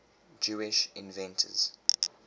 jewish inventors